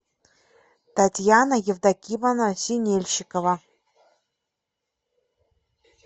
татьяна евдокимовна синельщикова